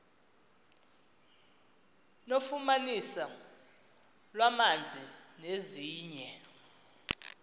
nofumaniso lwamanzi nezinye